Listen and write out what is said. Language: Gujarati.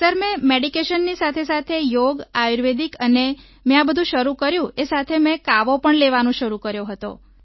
સર મેં મેડિકેશનની સાથેસાથે મેં યોગ આયુર્વેદિક અને મેં આ બધું શરૂ કર્યું અને સાથે મેં કાવો પણ લેવાનો શરૂ કર્યો હતો